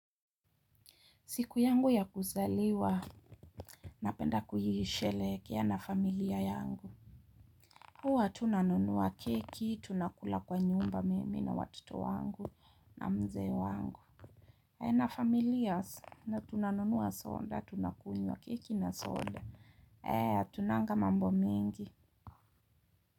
Siku yangu ya kuzaliwa, napenda kuhishelekea na familia yangu. Huwa, tunanunuwa keki, tunakula kwa nyumba mimi na watoto wangu na mzee wangu. Na familia, tunanunuwa soda, tunakunywa keki na soda. Tunanga mambo mengi.